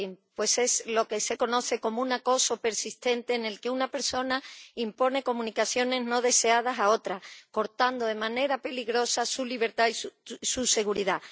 Pues es lo que se conoce como un acoso persistente en el que una persona impone comunicaciones no deseadas a otra, cortando de manera peligrosa su libertad y su seguridad.